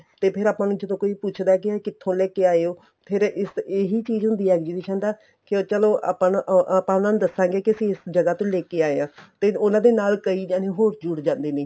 ਤੇ ਫ਼ੇਰ ਆਪਾਂ ਨੂੰ ਜਦੋਂ ਕੋਈ ਪੁੱਛਦਾ ਏ ਕੀ ਕਿੱਥੋ ਲੈਕੇ ਆਏ ਹੋ ਫ਼ੇਰ ਏਹੀ ਚੀਜ਼ ਹੁੰਦੀ ਏ exhibition ਦਾ ਕੇ ਚਲੋਂ ਆਪਾਂ ਨੂੰ ਆਪਾਂ ਉਹਨਾ ਨੂੰ ਦੱਸਾਗੇ ਕੀ ਅਸੀਂ ਇਸ ਜਗ੍ਹਾ ਤੋਂ ਲੈਕੇ ਆਏ ਹਾਂ ਤੇ ਉਹਨਾ ਦੇ ਨਾਲ ਕਈ ਜਾਣੇ ਹੋਰ ਜੁੜ ਜਾਂਦੇ ਨੇ